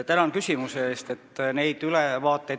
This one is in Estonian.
Tänan küsimuse eest!